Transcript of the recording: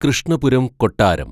കൃഷ്ണപുരം കൊട്ടാരം